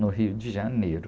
no Rio de Janeiro.